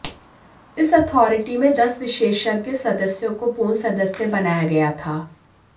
इस अथॉरिटी में दस विशेषज्ञ सदस्यों को पूर्ण सदस्य बनाया गया था